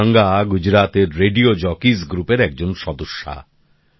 RJ Ganga গুজরাতের radio jockeys গ্রুপের একজন সদস্যা